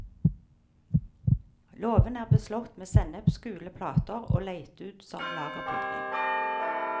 Låven er beslått med sennepsgule plater og leid ut som lagerbygning.